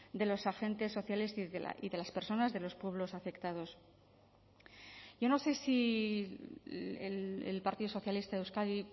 de los agentes sociales y de las personas de los pueblos afectados yo no sé si el partido socialista de euskadi